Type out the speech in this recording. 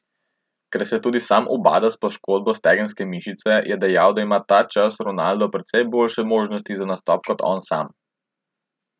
Ker se tudi sam ubada s poškodbo stegenske mišice, je dejal, da ima ta čas Ronaldo precej boljše možnosti za nastop kot on sam.